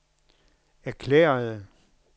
erklærede